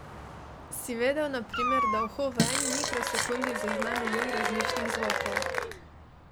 Si vedel, na primer, da uho v eni mikrosekundi zazna milijon različnih zvokov?